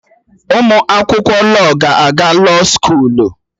Ụmụ akwụkwọ lọọ ga na-aga lọọ skoolu